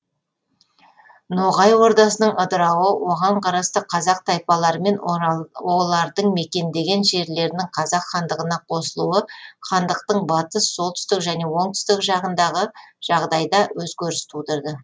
ноғай ордасының ыдырауы оған қарасты қазақ тайпалары мен олардың мекендеген жерлерінің қазақ хандығына қосылуы хандықтың батыс солтүстік және оңтүстік жағындағы жағдайда өзгеріс тудырды